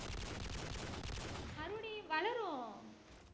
மறுபடியும் வளரும்